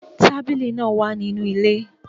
Tabili naa wa ninu ile